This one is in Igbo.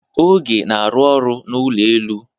Oge na-arụ ọrụ n'ụlọ elu.